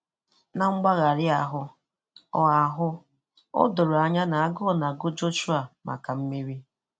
Na mgbagharị ahụ, o ahụ, o doro anya na agụụ na-agụ Jọshụa maka mmeri.